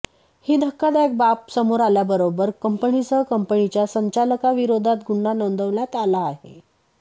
ही धक्कादायक बाब समोर आल्याबरोबर कंपनीसह कंपनीच्या संचालकाविरोधात गुन्हा नोंदवण्यात आला आहे